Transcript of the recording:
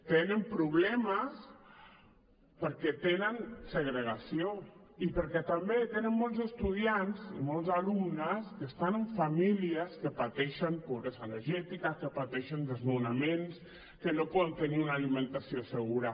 tenen problemes perquè tenen segregació i perquè també tenen molts estudiants i molts alumnes que estan en famílies que pateixen pobresa energètica que pateixen desnonaments que no poden tenir una alimentació segura